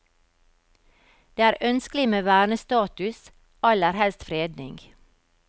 Det er ønskelig med vernestatus, aller helst fredning.